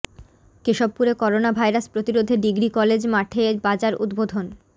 কেশবপুরে corona virus প্রতিরোধে degree college মাঠে বাজার উদ্বোধন